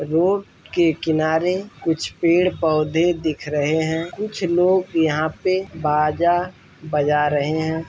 Road के किनारे कुछ पेड़ पौधे दिख रहे हैं। कुछ लोग यहाँ पे बाजा बजा रहे हैं।